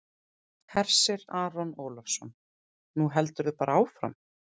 Hersir Aron Ólafsson: Nú heldurðu bara áfram?